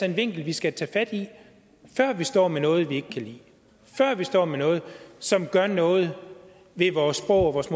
en vinkel vi skal tage fat i før vi står med noget vi ikke kan lide før vi står med noget som gør noget ved vores sprog og vores